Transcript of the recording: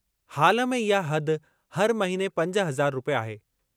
हालु में इहा हद हर महिने पंज हज़ार रूपए आहे।